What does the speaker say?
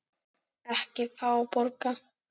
Ekki fá borga.